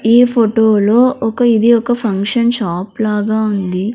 ఈ ఫొటో లో ఒక ఇది ఒక ఫంక్షన్ షాప్ లాగా ఉంది.